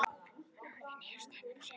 Hann horfir niður á tærnar á sér.